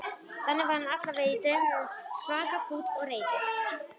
Þannig var hann allavega í draumnum, svaka fúll og reiður.